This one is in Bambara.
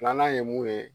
Filanan ye mun ye